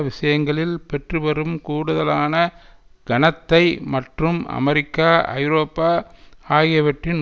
விஷயங்களில் பெற்றுவரும் கூடுதலான கனத்தை மற்றும் அமெரிக்கா ஐரோப்பா ஆகியவற்றின்